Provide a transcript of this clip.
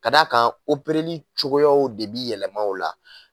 Ka d'a kan cogoyaw de bi yɛlɛma o la